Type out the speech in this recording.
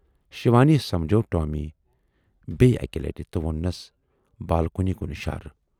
شِوانی سمجھوو ٹامی بییہِ اکہِ لٹہِ تہٕ وۄنٛنِیٚس بالکنی کُن اِشارٕ۔